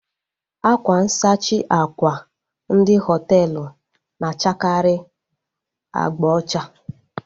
Akwa nsachi àkwà ndị hoteelu na-achakari abga ocha